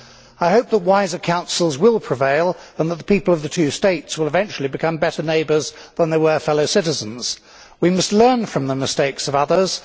I hope that wiser counsels will prevail and that the people of the two states will eventually become better neighbours than they were fellow citizens. We must learn from the mistakes of others